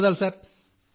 ధన్యవాదాలు సార్